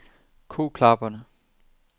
Koklapperne